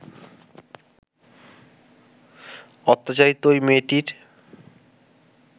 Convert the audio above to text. অত্যাচারিতা ওই মেয়েটির